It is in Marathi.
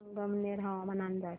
संगमनेर हवामान अंदाज